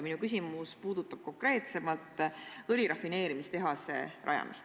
Minu küsimus puudutab konkreetsemalt õlirafineerimistehase rajamist.